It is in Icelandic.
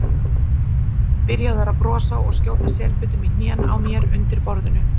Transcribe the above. Byrjaður að brosa og skjóta selbitum í hnén á mér undir borðinu.